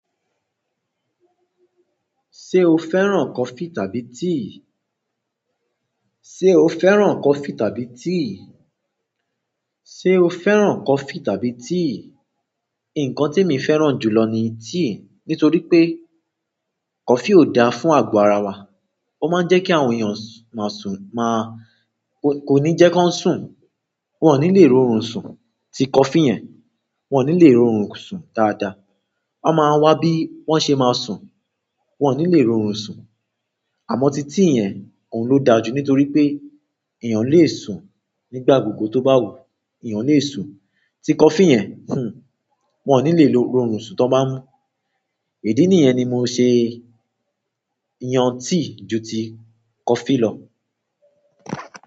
Ṣé o fẹ́ràn coffee tàbí tea? Ṣé o fẹ́ràn coffee tàbí tea? Ṣé o fẹ́ràn coffee tàbí tea? Nǹkan tí emi fẹ́ràn jù lọ ni tea. Nítorí pé coffee ò dáa fún àgo ara wa. Ó máa ń jẹ́ kí àwọn èyàn máa sùn máa-- kò ní jẹ́ kí wọ́n sùn. Wọn ò ní lè ro orun sùn. Tí coffee yẹn, wọn ò ní lè ro orun sùn dáadáa. Wọ́n máa wá bí wọ́n ṣe máa sùn. Wọn ò ní lè ro orun sùn. Àmọ́ tí tea yẹn, òun ló dáa jù nítorí pé èyàn lè sùn nígbà gbogbo tó bá wùú, èèyàn lè sùn. Tí coffee yẹn, hhn, wọ́n ò ní lè ro orun sùn tó bá mú. Idí nì yẹn ni mo ṣe yan tea ju ti coffee lọ.